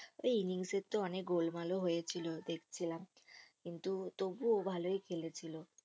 ওই innings এরতো অনেক গোলমাল ও হয়েছিল দেখছিলাম কিন্তু তবুও ভালোই খেলেছিল